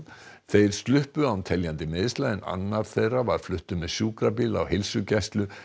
þeir sluppu án teljandi meiðsla en annar þeirra var fluttur með sjúkrabíl á heilsugæslu